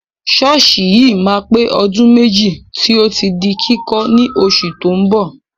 Ṣọ́ọ̀ṣì yìí máa pé ọdún méjì tí ó ti di kíkọ́ ní oṣù tó ń bọ̀.